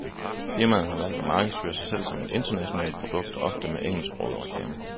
Firmaet har valgt at markedsføre sig selv som et internationalt produkt, ofte med engelsksprogede reklamer.